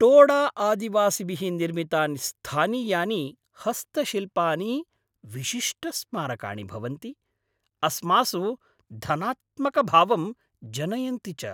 टोडाआदिवासिभिः निर्मितानि स्थानीयानि हस्तशिल्पानि विशिष्टस्मारकाणि भवन्ति, अस्मासु धनात्मकभावं जनयन्ति च।